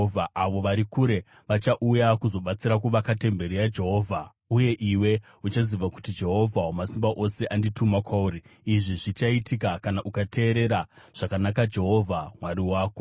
Avo vari kure vachauya kuzobatsira kuvaka temberi yaJehovha, uye iwe uchaziva kuti Jehovha Wamasimba Ose andituma kwauri. Izvi zvichaitika kana ukateerera zvakanaka Jehovha Mwari wako.”